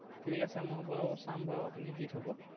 ঠিক আছে, মই বাৰু চাম বাৰু আপুনি দি থ'ব।